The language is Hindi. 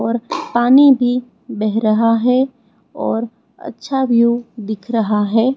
और पानी भी बैह रहा है और अच्छा व्यू दिख रहा है।